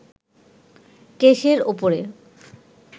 কেসের ওপরে